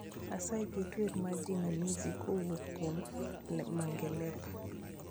Asayi ket wer mar jinamizi kuwuok kuom le mangelepa